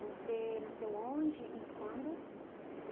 Você nasceu onde e quando?